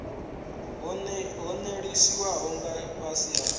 ho ṅwalisiwaho nga fhasi ha